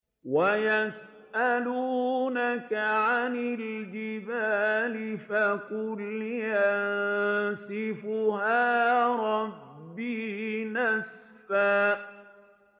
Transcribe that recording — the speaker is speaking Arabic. وَيَسْأَلُونَكَ عَنِ الْجِبَالِ فَقُلْ يَنسِفُهَا رَبِّي نَسْفًا